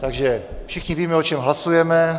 Takže všichni víme, o čem hlasujeme.